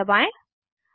enter दबाएं